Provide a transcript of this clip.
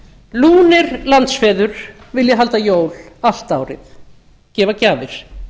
lúnir landsfeður vilja halda jól allt árið gefa gjafir